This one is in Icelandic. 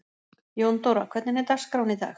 Jóndóra, hvernig er dagskráin í dag?